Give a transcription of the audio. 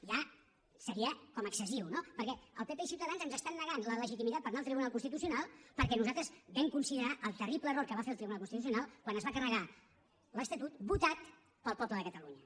ja seria com excessiu no perquè el pp i ciutadans ens estan negant la legitimitat per anar al tribunal constitucional perquè nosaltres vam considerar el terrible error que va fer el tribunal constitucional quan es va carregar l’estatut votat pel poble de catalunya